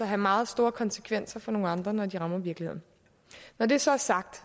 have meget store konsekvenser for nogle andre når de rammer virkeligheden når det så er sagt